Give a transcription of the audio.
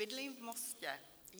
Bydlím v Mostě.